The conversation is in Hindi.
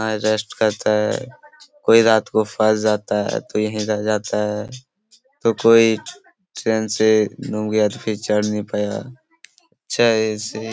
और रेस्ट करता है कोंई रात को फस जाता है तो यही रह जाता है तो कोंई चैन से चढ़ नहीं पाया अच्छा ऐसे --